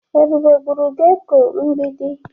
Ebube gburu geko mgbidi.